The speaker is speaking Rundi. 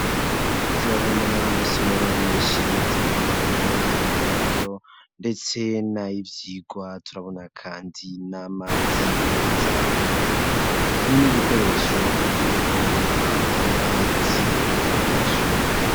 Turabona amasomero, menshi, atandukanye; ay'uburaro, ndetse n'ay'ivyigwa, turabona kandi, n'amazi meza, n'ibikoresho vyo kuvoma, amazi y'abanyeshuri.